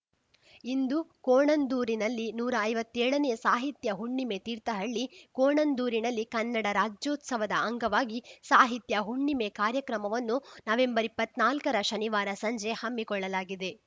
ಇಂದು ಕೋಣಂದೂರಿನಲ್ಲಿ ನೂರಾ ಐವತ್ತೇಳನೇ ಸಾಹಿತ್ಯ ಹುಣ್ಣಿಮೆ ತೀರ್ಥಹಳ್ಳಿ ಕೋಣಂದೂರಿನಲ್ಲಿ ಕನ್ನಡ ರಾಜ್ಯೋತ್ಸವದ ಅಂಗವಾಗಿ ಸಾಹಿತ್ಯ ಹುಣ್ಣಿಮೆ ಕಾರ್ಯಕ್ರಮವನ್ನು ನವೆಂಬರ್ ಇಪ್ಪತ್ ನಾಲ್ಕರ ಶನಿವಾರ ಸಂಜೆ ಹಮ್ಮಿಕೊಳ್ಳಲಾಗಿದೆ